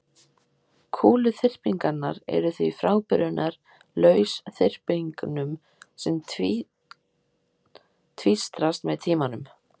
Kúluþyrpingarnar eru því frábrugðnar lausþyrpingum sem tvístrast með tímanum.